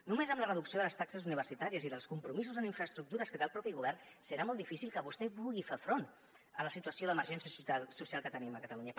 només amb la reducció de les taxes universitàries i dels compromisos en infraestructures que té el mateix govern serà molt difícil que vostè pugui fer front a la situació d’emergència social que tenim a catalunya